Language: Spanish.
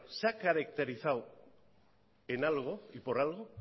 se ha caracterizado en algo y por algo